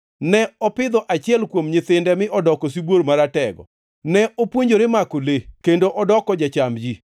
Ne opidho achiel kuom nyithinde mi odoko sibuor maratego. Ne opuonjore mako le kendo odoko jacham ji.